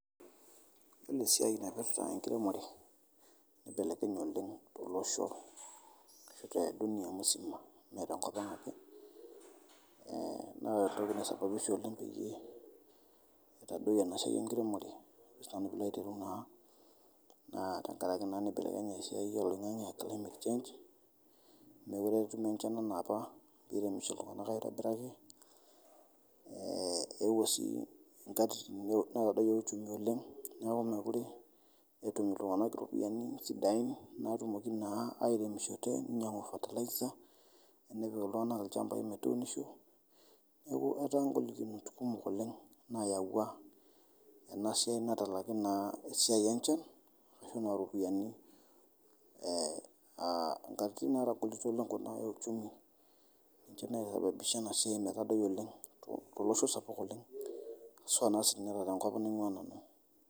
Ore esiaai naipirita enkiremore eibelekenye oleng te loshoo ashu te dunia msima mee te nkopanga ake naa ore entoki naisababisha oleng naa etodoiye esiaai enkiremore ajosii nanu piilo aitereu naa tengaraki naa neibelekenye esiaai e loing'ang'e aa climate change mekure etumi inchan enaapa neremisho ltunganak aitobiraki, eewuo sii nmkatitin nado yoo uchumi oleng neaku mekure etum ltunganak iropiyiani sidain naatumoki naa airemisho teneinyang'u fertilizer enepik ltunganak lchambai metuunisho, neaku etaa ngolikinot kumok olenge naeawua ena siaai natalaki naa esiaai enchan ashu anaa ropiyiani aa nkatitin naatogolito uchumi ninche naeutua iropishana esiaai metadoi oleng te olosho sapuk oleng haswa si naa ninye te nkop naing'uaa nanu